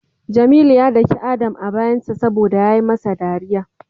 Jamilu ya dake Adam a bayansa saboda yayi masa dariya.